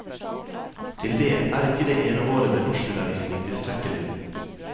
Til dét er ikke det ene året med norskundervisning tilstrekkelig.